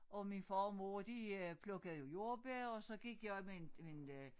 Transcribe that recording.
Og min far og mor de øh plukkede jordbær og så gik jeg med en med en øh